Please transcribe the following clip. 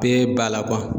Bɛɛ b'a la